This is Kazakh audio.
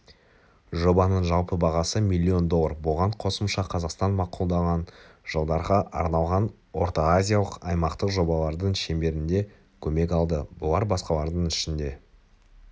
жобаның жалпы бағасы миллион доллар бұған қосымша қазақстан мақұлдаған жылдарға арналған ортаазиялық аймақтық жобалардың шеңберінде көмек алды бұлар басқалардың ішінде